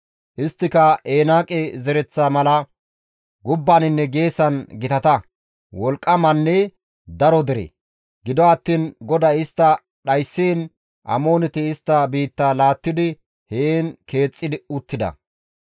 Isttika Enaaqe zereththa mala gubbaninne geesan gitata, wolqqamanne daro dere; gido attiin GODAY istta dhayssiin Amooneti istta biitta laattidi heen keexxi uttida.